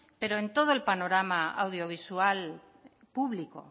pero en todo el panorama audiovisual público